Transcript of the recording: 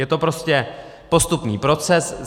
Je to prostě postupný proces.